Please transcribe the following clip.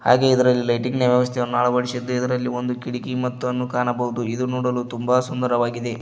ಹಾಗೆ ಇದರಲ್ಲಿ ಲೈಟಿಂಗ್ನ ವ್ಯವಸ್ಥೆಯನ್ನು ಅಳವಡಿಸಿದ್ದೆ ಇದರಲ್ಲಿ ಒಂದು ಕಿಟಕಿ ಮತ್ತು ಅನ್ನು ಕಾಣಬಹುದು ಇದು ನೋಡಲು ತುಂಬ ಸುಂದರವಾಗಿದೆ.